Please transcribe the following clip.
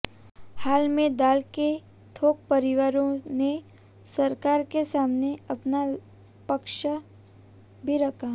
हाल में दाल के थोक व्यापारियों ने सरकार के सामने अपना पक्ष भी रखा